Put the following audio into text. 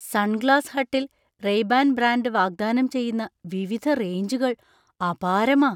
Sunglass ഹട്ടിൽ Ray Ban brand വാഗ്ദാനം ചെയ്യുന്ന വിവിധ റേഞ്ചുകൾ അപാരമാ.